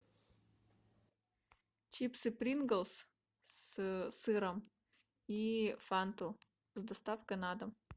чипсы принглс с сыром и фанту с доставкой на дом